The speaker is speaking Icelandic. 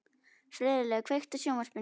Friðlaug, kveiktu á sjónvarpinu.